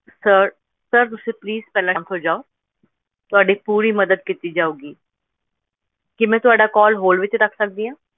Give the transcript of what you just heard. Sir sir ਤੁਸੀਂ please ਪਹਿਲਾਂ ਸਾਂਤ ਹੋ ਜਾਓ ਤੁਹਾਡੀ ਪੂਰੀ ਮਦਦ ਕੀਤੀ ਜਾਊਗੀ ਕੀ ਮੈਂ ਤੁਹਾਡਾ call hold ਵਿੱਚ ਰੱਖ ਸਕਦੀ ਹਾਂ?